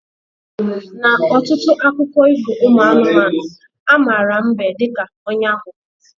Na ọtụtụ akụkọ ifo ụmụ anụmanụ, ha mara mbe dịka onye aghụghọ